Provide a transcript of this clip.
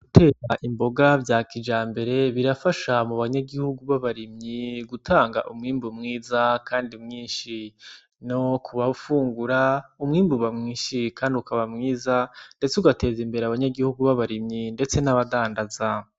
Gutera imboga vya kijambere birafasha mu banyagihugu b'abarimyi gutanga umwimbu mwiza kandi mwinshi. No kubafungura, umwimbu uba mwinshi kandi ukaba mwiza ndetse ugateza imbere abanyagihugu b'abarimvyi ndetse n'abadanda.